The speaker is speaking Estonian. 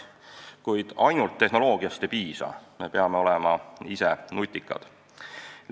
Kuid ainult tehnoloogiast ei piisa, me peame olema ise nutikad.